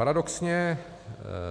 Paradoxně